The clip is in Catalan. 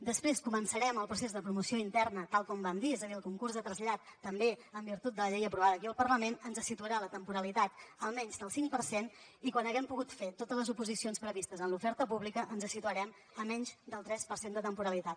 després començarem el procés de promoció interna tal com vam dir és a dir el concurs de trasllats també en virtut de la llei aprovada aquí al parlament ens situarà la temporalitat a menys del cinc per cent i quan haguem pogut fer totes les oposicions previstes en l’oferta pública ens situarem a menys del tres per cent de temporalitat